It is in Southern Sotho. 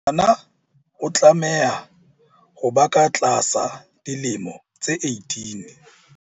Ngwana o tlameha ho ba ka tlasa dilemo tse 18.